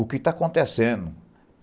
O que está acontecendo?